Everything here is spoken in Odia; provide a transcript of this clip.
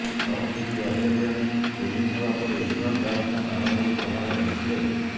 ଟସ୍ ଜିତି ଅଷ୍ଟ୍ରେଲିଆ ଫିଲ୍ଡିଂ ନେବା ପରେ ଇଂଲଣ୍ଡ ବ୍ୟାଟ୍ସମ୍ୟାନ୍ ଆରମ୍ଭରୁ ପ୍ରହାର କରିଥିଲେ